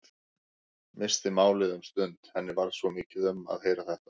Missti málið um stund, henni varð svo mikið um að heyra þetta.